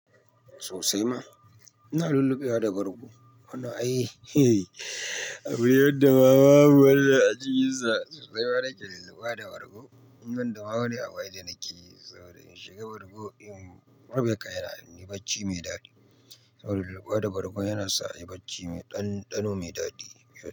Sosai ma. Ina lulluɓe wa da bargo. Wanan ai, abune yadda ma ma mu har da ajiyinsa sosai. Waɗanda ke lulluɓe wa da gargo, wannan damuwa ne a waye da nake yi saboda in shiga gargo in ruɓe kai yana ni bacci mai daɗi. Saboda lulluɓe wa da bargo yana sa a yi bacci mai ɗanɗano mai daɗi.